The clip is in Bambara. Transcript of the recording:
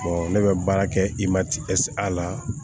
ne bɛ baara kɛ i ma a la